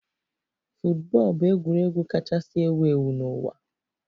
Football bụ egwuregwu kachasị ewu ewu n'ụwa.